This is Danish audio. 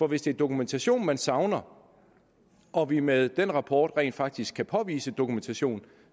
hvis det er dokumentation man savner og vi med den rapport rent faktisk kan påvise dokumentation